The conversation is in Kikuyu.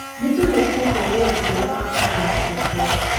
Nĩ tũrĩkĩtie wĩra ũrĩa baba aratũhete